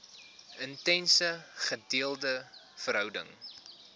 intense gedeelde verhouding